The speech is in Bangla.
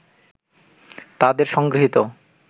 তাদের সংগৃহীত